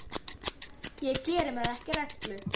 Ég geri mér ekki rellu.